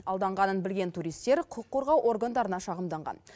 алданғанын білген туристер құқық қорғау органдарына шағымданған